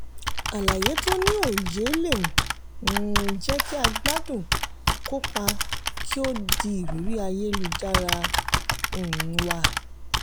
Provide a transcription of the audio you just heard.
àlàyé tó ní òye le um jẹ́ kí a gbádùn kópa kí o di ìrírí ayélujára um wa.